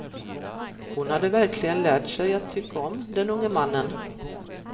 Hon hade verkligen lärt sig att tycka om den unge mannen.